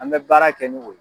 An bɛ baara kɛ ni o